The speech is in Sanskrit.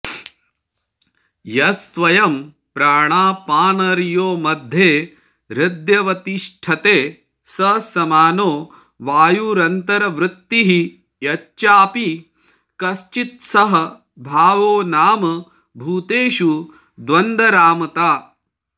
यस्त्वयं प्राणापानयोर्मध्ये हृद्यवतिष्ठते स समानो वायुरन्तर्वृत्तिः यश्चापि कश्चित्सह भावो नाम भूतेषु द्वन्द्वारामता